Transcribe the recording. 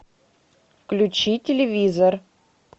включи телевизор